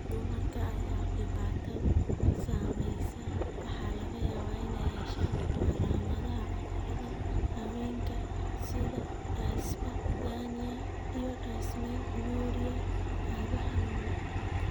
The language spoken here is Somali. Dumarka ay dhibaatadu saameysey waxaa laga yaabaa inay yeeshaan calaamadaha cudurada haweenka sida dyspareunia iyo dysmenorrhea (cado xanuun leh).